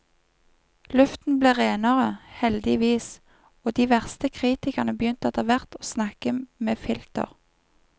Luften ble renere, heldigvis, og de verste kritikerne begynte etterhvert å snakke med filter.